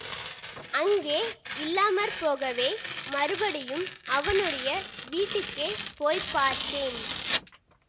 அங்கே இல்லாம போகவே மறுபடியும் அவனுடைய வீட்டுக்கே போய் பார்த்தேன்